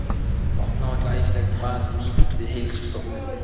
Opnað var glæsilegt baðhús við Heilsustofnun